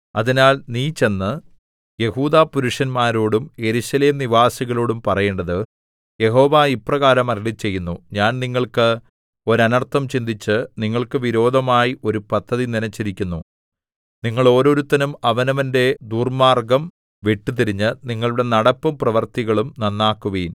അതിനാൽ നീ ചെന്ന് യെഹൂദാപുരുഷന്മാരോടും യെരൂശലേം നിവാസികളോടും പറയേണ്ടത് യഹോവ ഇപ്രകാരം അരുളിച്ചെയ്യുന്നു ഞാൻ നിങ്ങൾക്ക് ഒരനർത്ഥം ചിന്തിച്ച് നിങ്ങൾക്ക് വിരോധമായി ഒരു പദ്ധതി നിനച്ചിരിക്കുന്നു നിങ്ങൾ ഓരോരുത്തനും അവനവന്റെ ദുർമ്മാർഗ്ഗം വിട്ടുതിരിഞ്ഞ് നിങ്ങളുടെ നടപ്പും പ്രവൃത്തികളും നന്നാക്കുവിൻ